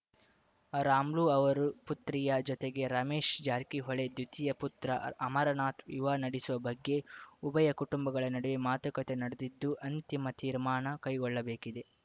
ರಾಮುಲು ಅವರು ಪುತ್ರಿಯ ಜೊತೆಗೆ ರಮೇಶ್‌ ಜಾರಕಿಹೊಳಿ ದ್ವಿತೀಯ ಪುತ್ರ ಅಮರನಾಥ್‌ ವಿವಾಹ ನಡೆಸುವ ಬಗ್ಗೆ ಉಭಯ ಕುಟುಂಬಗಳ ನಡುವೆ ಮಾತುಕತೆ ನಡೆದಿದ್ದು ಅಂತಿಮ ತೀರ್ಮಾನ ಕೈಗೊಳ್ಳಬೇಕಿದೆ